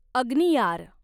अग्नियार